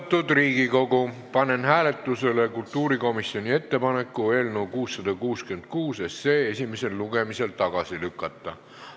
Austatud Riigikogu, panen hääletusele kultuurikomisjoni ettepaneku eelnõu 666 esimesel lugemisel tagasi lükata.